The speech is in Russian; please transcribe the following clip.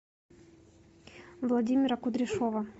владимира кудряшова